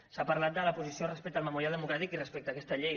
s’ha parlat de la posició respecte al memorial democràtic i respecte a aquesta llei